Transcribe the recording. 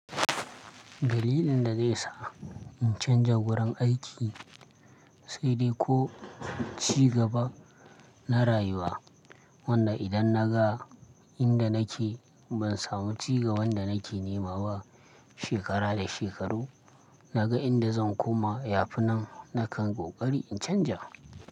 Dalilin da zai sa in canja wurin aiki sai dai ko cigaba na rayuwa. Wanda idan naga inda nake ban samu cigaba wanda nake nema ba shekara da shekaru. Naga inda zan koma yafi nan nakan kokari in canja.